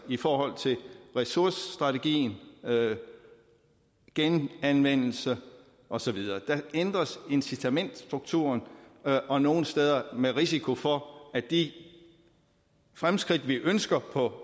i forhold til ressourcestrategi genanvendelse og så videre der ændres i incitamentsstrukturen og nogle steder sker det med risiko for at de fremskridt vi ønsker på